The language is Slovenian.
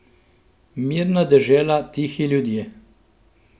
Mirna dežela, tihi ljudje.